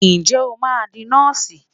Ǹjẹ́ o máa di Nọ́ọ̀sì?